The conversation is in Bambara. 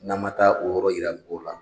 N'a ma taa o yɔrɔ yira mɔgɔw la.